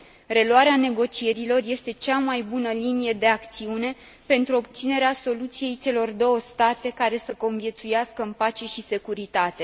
Reluarea negocierilor este cea mai bună linie de acțiune pentru obținerea soluției celor două state care să conviețuiască în pace și securitate.